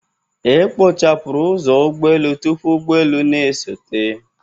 E kpochapụrụ ụzọ ụgbọelu tupu ụgbọelu na-esote.